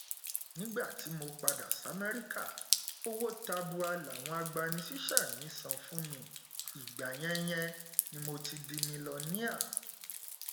nígbà tí mo padà samẹríkà owó tabua làwọn agbanisíṣẹ mi san fún mi ìgbà yẹn yẹn ni mo ti di milọníà